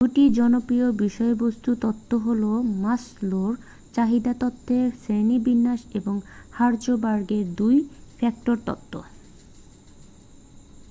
2 টি জনপ্রিয় বিষয়বস্তু তত্ত্ব হল মাসলোর চাহিদা তত্ত্বের শ্রেণীবিন্যাস এবং হার্জবার্গের 2 ফ্যাক্টর তত্ত্ব